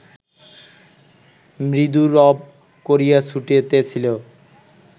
মৃদু রব করিয়া ছুটিতেছিল